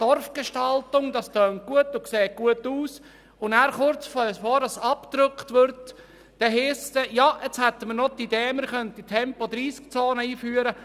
Dorfgestaltung: Das tönt gut, sieht gut aus, und kurz bevor man «abdrückt», heisst es, man habe noch die Idee, man könnte Tempo-30-Zonen einführen.